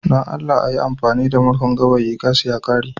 don Allah a yi amfani da murhun gawayi gas ya ƙare